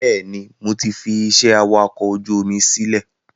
Bẹ́ẹ̀ni, mo ti fi ìṣe awakọ̀ ojú omi sílẹ̀